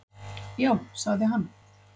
Já, sagði hann.